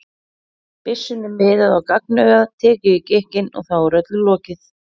byssunni miðað á gagnaugað, tekið í gikkinn, og þá er öllu lokið.